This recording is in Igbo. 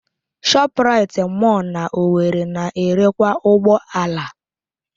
ShopRite mọll na owerri na-erekwa ụgbọ ala.